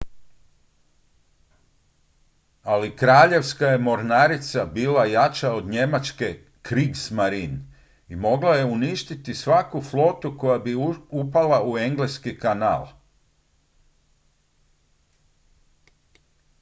"ali kraljevska je mornarica bila jača od njemačke "kriegsmarine" i mogla je uništiti svaku flotu koja bi upala u engleski kanal.